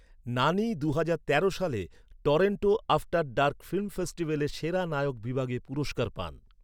নানি দুহাজার তেরো সালে টরন্টো আফটার ডার্ক ফিল্ম ফেস্টিভ্যালে সেরা নায়ক বিভাগে পুরস্কার পান